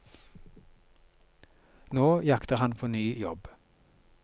Nå jakter han på ny jobb.